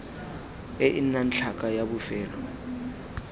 e nnang tlhaka ya bofelo